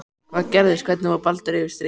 Hvað gerðist, hvernig fór Baldur yfir strikið?